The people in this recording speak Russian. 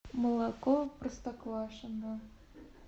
молоко простоквашино